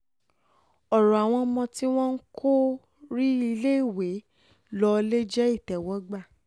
ọ̀rọ̀ àwọn ọmọ tí wọn kò rí iléèwé lò ò lè jẹ́ ìtẹ́wọ́gbà